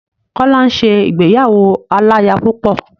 Kọ́lá ń ṣe ìgbéyàwó aláya púpọ̀.